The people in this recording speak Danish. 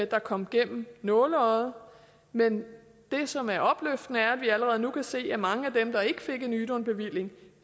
der kom gennem nåleøjet men det som er opløftende er at vi allerede nu kan se at mange af dem der ikke fik en ydun bevilling